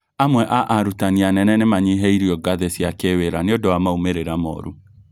Amwe a arutani anene nĩmanyihĩirio ngathĩ cia kĩwĩra nĩũndu wa maumĩrĩra moru